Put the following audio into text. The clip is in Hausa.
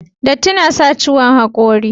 Datti na sa ciwon hakori